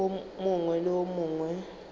wo mongwe le wo mongwe